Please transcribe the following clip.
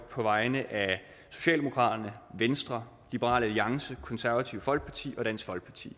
på vegne af socialdemokraterne venstre liberal alliance det konservative folkeparti og dansk folkeparti